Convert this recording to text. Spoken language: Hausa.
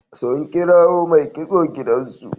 Sun kirawo mai kitso gidansu.